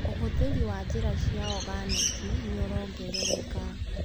ũhũthĩri wa njĩra cia oganĩki nĩũrongerereka.